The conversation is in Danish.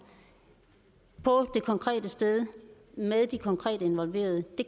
på det konkrete sted med de konkrete involverede det